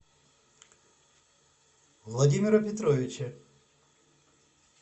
владимира петровича